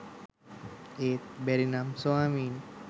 ඒත් බැරි නම් ස්වාමීනී